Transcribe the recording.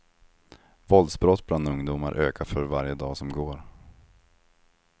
Våldsbrott bland ungdomar ökar för varje dag som går.